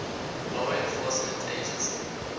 law enforcement agency